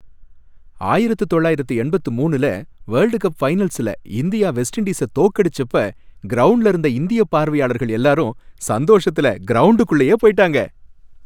ஆயிரத்து தொள்ளாயிரத்து எண்பத்து மூனுல வேர்ல்ட் கப் ஃபைனல்ஸ்ல இந்தியா வெஸ்ட் இண்டீஸ தோக்கடிச்சப்ப கிரவுண்ட்ல இருந்த இந்திய பார்வையாளர்கள் எல்லாரும் சந்தோஷத்துல கிரவுண்டுக்குள்ளேயே போயிட்டாங்க.